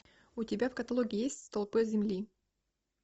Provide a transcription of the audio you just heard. у тебя в каталоге есть столпы земли